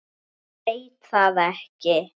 Ég veit það ekki